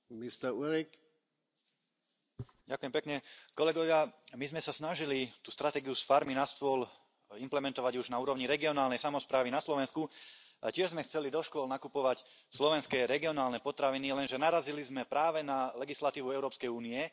Vážený pán predsedajúci, kolegovia, my sme sa snažili tú stratégiu z farmy na stôl implementovať už na úrovni regionálnej samosprávy na Slovensku a tiež sme chceli do škôl nakupovať slovenské regionálne potraviny, lenže narazili sme práve na legislatívu Európskej únie.